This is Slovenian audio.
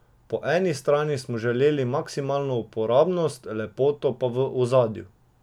Po eni strani smo želeli maksimalno uporabnost, lepoto pa v ozadju.